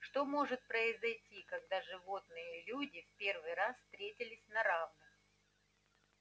что может произойти когда животные и люди в первый раз встретились на равных